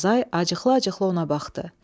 Azay acıqlı-acıqlı ona baxdı.